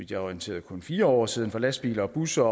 er orienteret kun fire år siden for lastbiler og busser